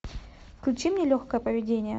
включи мне легкое поведение